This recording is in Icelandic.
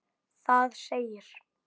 Það segir